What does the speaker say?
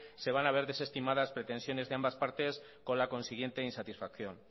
se van a ver desestimadas pretensiones de ambas partes con la consiguiente insatisfacción